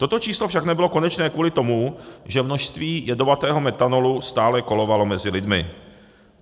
Toto číslo však nebylo konečné kvůli tomu, že množství jedovatého metanolu stále kolovalo mezi lidmi.